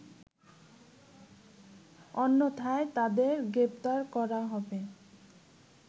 অন্যথায় তাদের গ্রেফতার করা হবে